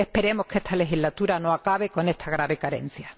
Esperemos que esta legislatura no acabe con esta grave carencia.